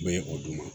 Bɛ o d'u ma